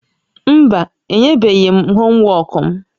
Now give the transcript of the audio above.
Mba, enyebeghị m homwọọkụ m